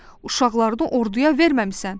Uşaqlarını orduya verməmisən.